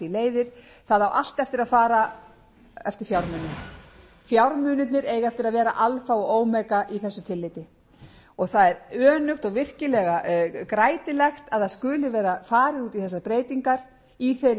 því leiðir það á allt eftir að fara eftir fjármunum fjármunirnir eiga eftir að vera alfa og omega í þessu tillit það er önugt og virkilega grætilegt að það skuli vera farið út í þessar breytingar í þeirri